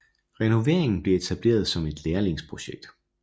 Renoveringen bliver etableret som et lærlingsprojekt